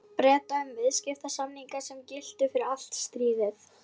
Breta um viðskiptasamninga, sem giltu fyrir allt stríðið.